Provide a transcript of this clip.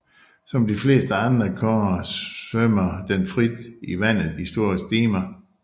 Som de fleste andre kårer svømmer den frit i vandet i store stimer